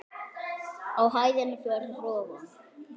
Á hæðinni fyrir ofan.